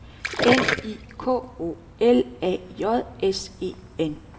N I K O L A J S E N